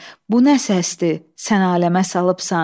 Bu nə səsdir, sən aləmə salıbsan.